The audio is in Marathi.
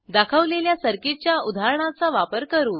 दाखवलेल्या सर्किटच्या उदाहरणाचा वापर करू